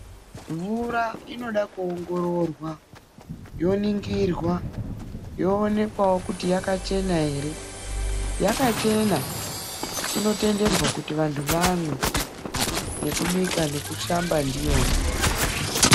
Mvura inoda kuongororwa yoningirwa yoonekwawo kuti yakachena ere .Yakachena ,inotenderwa kuti vanhtu vamwe ,nekubika nekushamba ndiyona